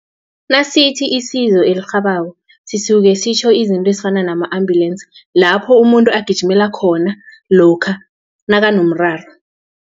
Nasithi isizo elirhabako sisuke sitjho izinto ezifana nama ambulensi lapho umuntu agijimela khona lokha nakanomraro.